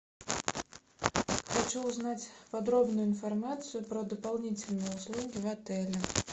хочу узнать подробную информацию про дополнительные услуги в отеле